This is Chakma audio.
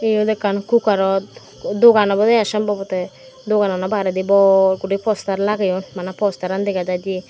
yot ekkan kukarot dogan obode ai sombabote doganano baredi bor guri postar lageyon bana postaran dega jaide.